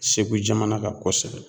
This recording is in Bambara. Segu jamana kan kosɛbɛ.